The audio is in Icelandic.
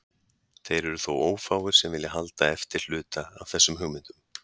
Þeir eru þó ófáir sem vilja halda eftir hluta af þessum hugmyndum.